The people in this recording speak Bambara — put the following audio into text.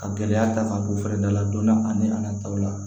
Ka gɛlɛya ta ka bɔ fɛrɛda la don dɔ ani a nataw la